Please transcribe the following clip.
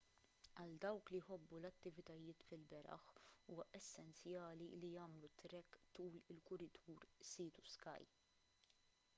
għal dawk li jħobbu l-attivitajiet fil-beraħ huwa essenzjali li jagħmlu trek tul il-kuritur sea to sky